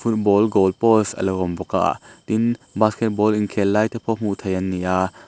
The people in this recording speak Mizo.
ball goal post a lo awm bawk a tin basketball in khel lai te pawh hmuh theih an ni a.